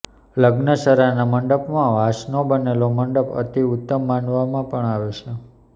લગ્નસરાના મંડપમાં વાંસનો બનેલો મંડપ અતિ ઉત્તમ માનવામાં પણ આવે છે